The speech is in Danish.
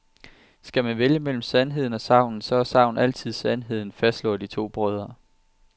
Skal man vælge mellem sandheden og sagnet, så er sagnet altid sandheden, fastslår de to brødre.